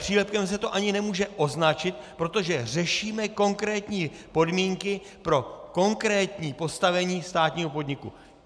Přílepkem se to ani nemůže označit, protože řešíme konkrétní podmínky pro konkrétní postavení státního podniku.